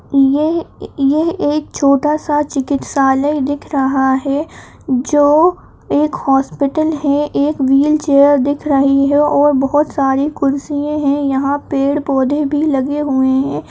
यह-यह एक छोटा सा चिकित्सालय दिख रहा है जो एक हॉस्पिटल है। एक व्हील चेयर दिख रही है और बोहोत सारी कुर्सिये हैं। यहाँँ पेड़ पौधे भी लगे हुए हैं।